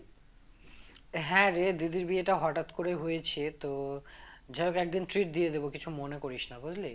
হ্যাঁ রে দিদির বিয়েটা হঠাৎ করে হয়েছে তো যাইহোক একদিন treat দিয়ে দেব কিছু মনে করিস না বুঝলি